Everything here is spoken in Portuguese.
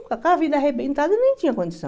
Com aquela vida arrebentada, eu nem tinha condição.